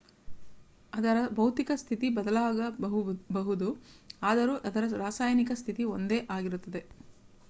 ಅದರ ಭೌತಿಕ ಸ್ಥಿತಿ ಬದಲಾಗಬಹುದು ಆದರೂ ಅದರ ರಾಸಾಯನಿಕ ಸ್ಥಿತಿ ಒಂದೇ ಆಗಿರುತ್ತದೆ